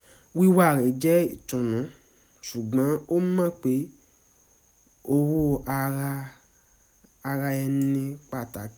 wíwà rẹ̀ jẹ́ ìtùnú ṣùgbọ́n ó mọ pé ọ̀wọ̀ ara ẹni pàtàkì